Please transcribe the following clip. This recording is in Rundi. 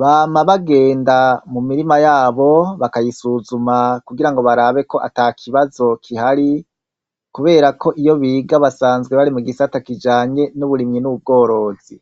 bama bagenda mu mirima yabo , bakayisuzuma kugira barabe ko atakibazo kihari , kubera ko iyo biga basanzwe bari mu gisata kijanye n' uburimyi n' ubworozi.